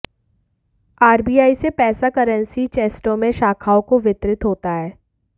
RBI से पैसा currency चेस्टों में शाखाओं को वितरित होता है